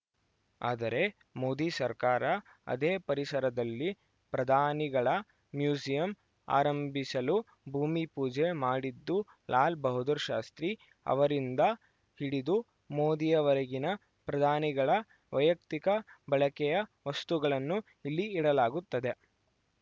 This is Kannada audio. ಆದರೆ ಮೋದಿ ಸರ್ಕಾರ ಅದೇ ಪರಿಸರದಲ್ಲಿ ಪ್ರಧಾನಿಗಳ ಮ್ಯೂಸಿಯಂ ಆರಂಭಿಸಲು ಭೂಮಿ ಪೂಜೆ ಮಾಡಿದ್ದು ಲಾಲ ಬಹದ್ದೂರ್‌ ಶಾಸ್ತ್ರಿ ಅವರಿಂದ ಹಿಡಿದು ಮೋದಿಯವರೆಗಿನ ಪ್ರಧಾನಿಗಳ ವೈಯಕ್ತಿಕ ಬಳಕೆಯ ವಸ್ತುಗಳನ್ನು ಇಲ್ಲಿ ಇಡಲಾಗುತ್ತದೆ